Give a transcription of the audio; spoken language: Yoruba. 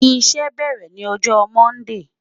Iṣẹ bẹrẹ ni ọjọ Mọndee